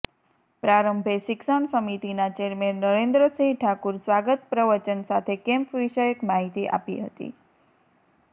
પ્રારંભે શિક્ષણ સમિતિના ચેરમેન નરેન્દ્રસિંહ ઠાકુર સ્વાગત પ્રવચન સાથે કેમ્પ વિષયક માહીતી આપી હતી